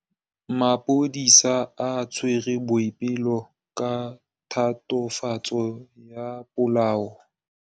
Maphodisa a tshwere Boipelo ka tatofatsô ya polaô.